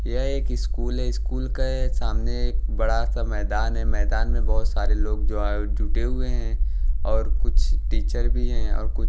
यह एक स्कूल है स्कूल के सामने एक बड़ा सा मैदान है मैदान में बहुत सारे लोग जो है जुटे हुए हैं और कुछ टीचर भी हैं और कु--